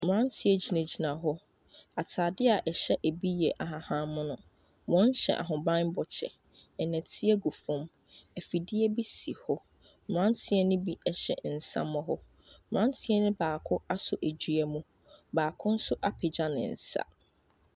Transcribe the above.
Mmaranteɛ gyina gyina hɔ ataadeɛ ɛhyɛ bi yɛ ahaban mono wɔn hyɛ ahoban bɔ kyɛw ɛdɔteɛ gu fom efidie bi si wɔ mmaranteɛ no bi hyɛ nsamoro mmaranteɛ no baako aso dua mu baako nso apagya ne nsa.